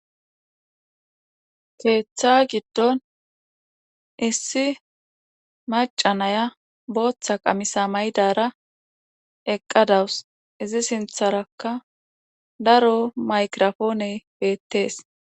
Keeththa gidon issi macca nayiya booththa qamise mayidara eqqa dawus. izi sintharakka daro maygraphone beetes.